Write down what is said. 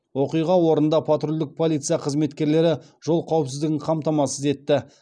оқиға орнында патрульдік полиция қызметкерлері жол қауіпсіздігін қамтамасыз етті